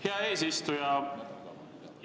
Hea eesistuja!